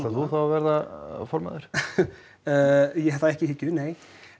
þú þá að verða formaður eh ég hef það ekki í hyggju nei